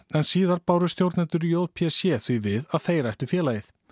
en síðar báru stjórnendur j p c því við að þeir ættu félagið